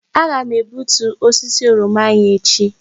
Nna m ga-egbutu osisi oroma anyị echi.